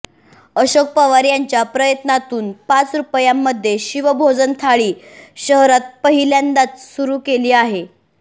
अशोक पवार यांच्या प्रयत्नातून पाच रुपयांमध्ये शिवभोजन थाळी शहरात पहिल्यांदाच सुरू केली आहे